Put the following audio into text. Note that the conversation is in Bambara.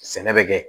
Sɛnɛ bɛ kɛ